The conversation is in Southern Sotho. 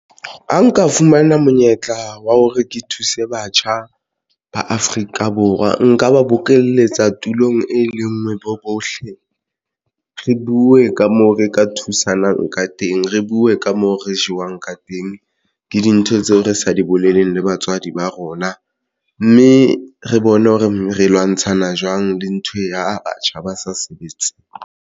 Ha nka fumana monyetla wa hore ke thuse batjha ba Afrika Borwa nka ba bokeletsa tulong e lengwe bo bohle re buwe ka moo re ka thusanang ka teng. Re buwe ka moo re jewang ka teng, ke dintho tseo re sa di boleleng le batswadi ba rona mme re bone hore re lwantshana jwang le ntho ya batjha ba sa sebetse.